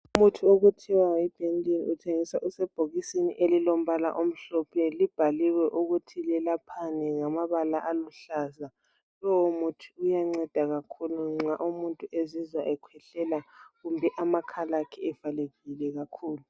Umuthi okuthiwa yi benelini uthengiswa usebhokisini elilombala omhlophe libhaliwe ukuthi lelaphani ngama bala aluhlaza lowo umuthi uyanceda kakhulu nxa umuntu ezizwa ekwehlela kumbe amakhala akhe evalekile kakhulu.